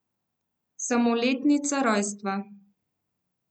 Samo letnica rojstva.